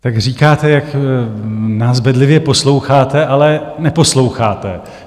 Tak říkáte, jak nás bedlivě posloucháte, ale neposloucháte.